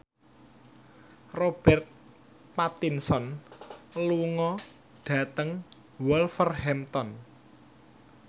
Robert Pattinson lunga dhateng Wolverhampton